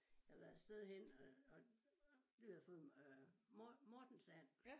Jeg havde været et sted henne og og vi havde fået øh mortensand